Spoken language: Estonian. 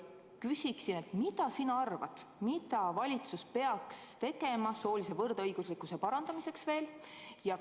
Mis sina arvad, mida valitsus peaks tegema soolise võrdõiguslikkuse parandamiseks veel?